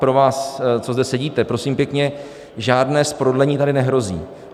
Pro vás, co zde sedíte, prosím pěkně, žádné zprodlení tady nehrozí.